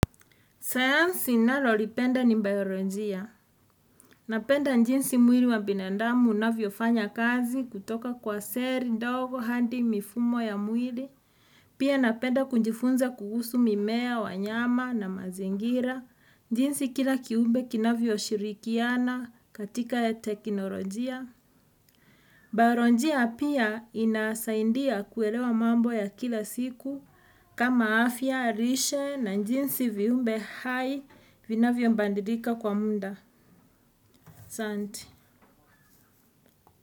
Sayansi ninalolipenda ni bayoronjia. Napenda njinsi mwili wa binandamu unavyofanya kazi kutoka kwa seri, dogo, handi, mifumo ya mwili. Pia napenda kunjifunza kuhusu mimea, wanyama na mazingira. Njinsi kila kiumbe kinavyo shirikiana katika ya teknolojia. Bayoronjia pia inasaindia kuelewa mambo ya kila siku. Kama afya, lishe, na njinsi viumbe hai, vinavyo mbandilika kwa munda. Santi.